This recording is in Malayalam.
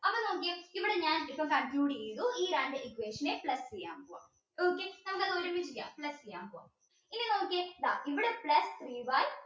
ഞാൻ ഇപ്പൊ conclude ചെയ്തു ഈ രണ്ട് equation plus ചെയ്യാ പൊവ്വം okay നമുക്ക് അത് ഒരുമിച്ച് ചെയ്യാം plus ചെയ്യാ പോവാം ഇനി നോക്കിയേ ഇതാ ഇവിടെ plus three y